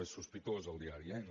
és sospitós el diari eh no